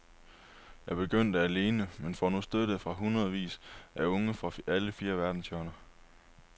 Jeg begyndte alene, men får nu støtte fra hundredevis af unge fra alle fire verdenshjørner.